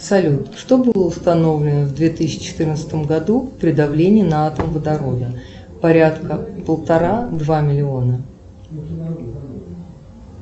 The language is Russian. салют что было установлено в две тысячи четырнадцатом году при давлении на атом водорода порядка полтора два миллиона